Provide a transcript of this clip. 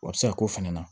O bɛ se ka k'o fana na